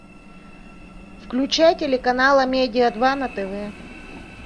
включай телеканал амедиа два на тв